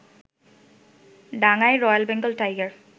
ডাঙায় royal Bengal tiger